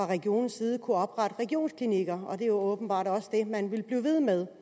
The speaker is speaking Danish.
regionernes side kunnet oprette regionsklinikker og det er åbenbart også det man vil blive ved med